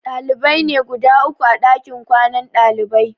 Ɗalibai ne guda uku a ɗakin kwanan ɗalibai.